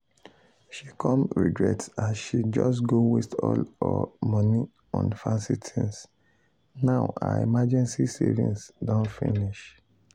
she come regret as she just go waste all her money on fancy things now her emergency savings don finish.